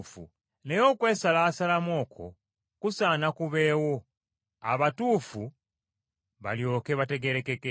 Naye okwesalaasalamu okwo kusaana kubeewo abatuufu balyoke bategeerekeke.